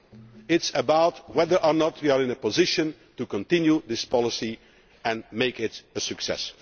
It is about whether or not we are in a position to continue this policy and make it a success.